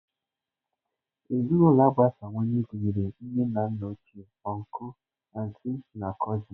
Ezinụlọ agbasawanye gụnyere nne na nna ochie, ọncụl, antị, na cụsịn.